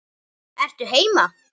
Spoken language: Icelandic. Ertu heima?